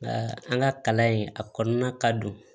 Nka an ka kalan in a kɔnɔna ka don